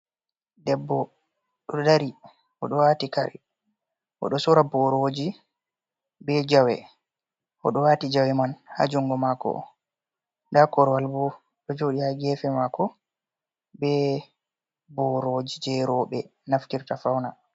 Ɗebbo dodari o ɗo sora boroji be jawe o ɗo wati jawe man ha jungo mako da korwal bo ɗo joɗi ha gefe mako be boroji je robe naftirta fauna.